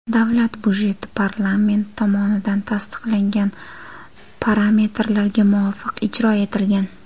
Davlat budjeti parlament tomonidan tasdiqlangan parametrlarga muvofiq ijro etilgan.